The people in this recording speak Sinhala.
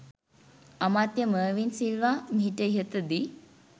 අමාත්‍ය මර්වින් සිල්වා මීට ඉහතදී